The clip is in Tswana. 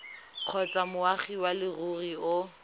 kgotsa moagi wa leruri o